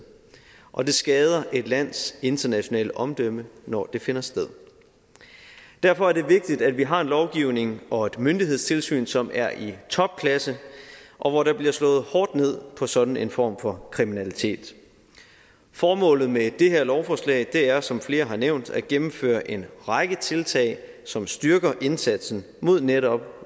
og det skader et lands internationale omdømme når det finder sted derfor er det vigtigt at vi har en lovgivning og et myndighedstilsyn som er i topklasse og hvor der bliver slået hårdt ned på sådan en form for kriminalitet formålet med det her lovforslag er som flere har nævnt at gennemføre en række tiltag som styrker indsatsen mod netop